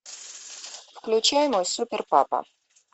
включай мой супер папа